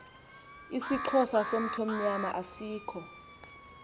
isixhosa somthonyama asikho